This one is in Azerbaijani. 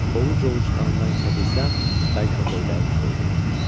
Ovuc-ovuc qanından içə bilsəm, bəlkə onda ürəyim soyudu.